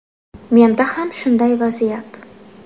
Menda ham shunday vaziyat.